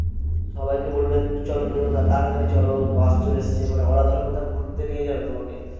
সবাইকে বলবে চলো চলো তাড়াতাড়ি চল বাস চলে এসছে ওরা ধরো কোথাও ঘুরতে নিয়ে যাবে তোমাকে।